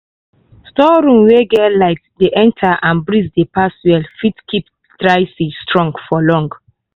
store room wey light dey enter and breeze dey pass well fit keep dry seed strong for long.